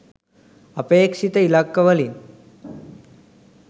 අපේක්‍ෂිත ඉලක්කවලින්